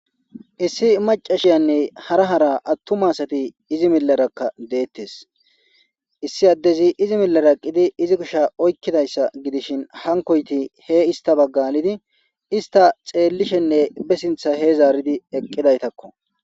Issi macashiyane hara hara atuma asati izi milera dettes issi adez izi milera eqidi izi kushsheza oyikidayssa gidishin hankoyti he issta bagga alidi ista xelishenne be sinththa he zaridi eqidaytakko